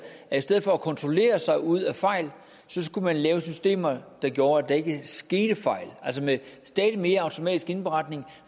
at i stedet for at kontrollere sig ud af fejl skulle man lave systemer der gjorde at der ikke skete fejl altså med stadig mere automatisk indberetning